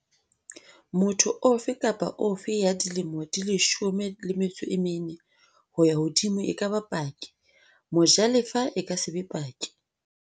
Motho ofe kapa ofe ya dilemo di 14 ho ya hodimo e ka ba paki. Mojalefa e ka se be paki.